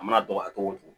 A mana dɔgɔya cogo o cogo